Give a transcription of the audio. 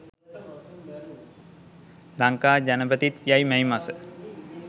ලංකා ජනපතිත් යයි මැයි මස